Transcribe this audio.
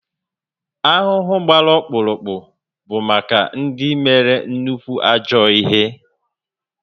Ahụhụ gbara ọkpụrụkpụ bụ maka ndị mere nnukwu ajọ ihe